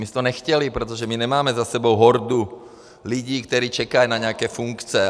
My jsme to nechtěli, protože my nemáme za sebou hordu lidí, kteří čekají na nějaké funkce.